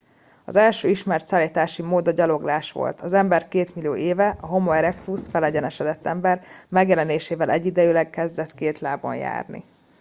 az első ismert szállítási mód a gyaloglás volt. az ember két millió éve a homo erectus felegyenesedett ember megjelenésével egyidejűleg kezdett két lábon járni